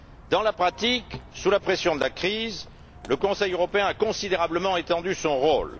Dans la pratique, sous la pression de la crise, le Conseil européen a considérablement étendu son rôle.